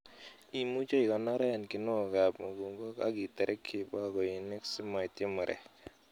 Imuche ikoronoren kinuokab mukunkok ak iterekyi bakoinik simoityi murek.